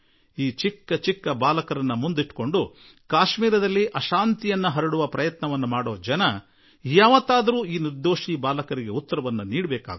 ಪುಟ್ಟ ಪುಟ್ಟ ಬಾಲಕರನ್ನು ಮುಂದಿಟ್ಟುಕೊಂಡು ಕಾಶ್ಮೀರದಲ್ಲಿ ಅಶಾಂತಿ ಉಂಟುಮಾಡಲು ಪ್ರಯತ್ನಿಸುವವರು ಒಂದಲ್ಲಾ ಒಂದು ದಿನ ಈ ನಿರ್ದೋಷಿ ಬಾಲಕರಿಗೂ ಉತ್ತರ ಕೊಡಬೇಕಾಗಿ ಬರುತ್ತದೆ